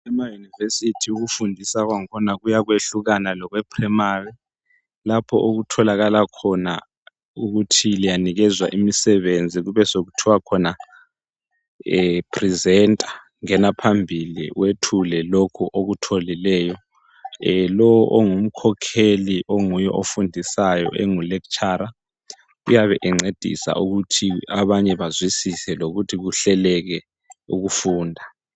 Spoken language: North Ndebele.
ema univesithi ukufundisa kwakhona kuyatshiyana lokwe primary lapha okutholakal khona ukuthi liyanikezwa umsebenzi kube sokuthwa presenter ngena phambili uyethule lokho okutholileyo lowo ongumkhokheli ofundisayo engu lecture uyabe encedisa ukuthi abnye bazwisise lokuthi kuhleleke ukufunda.